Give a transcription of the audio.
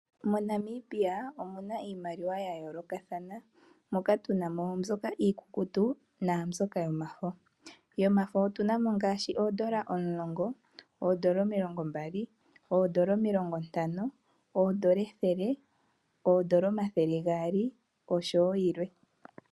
MoNamibia omuna iimaliwa yayoolokathana, omuna iikukutu noyomafo. Yomafo omuna ngaashi oodola omulongo, omilongo mbali, omilongo ntano, omathele gaali nayilwe.